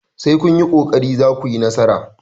sai kun yi ƙoƙari za ku yi nasara!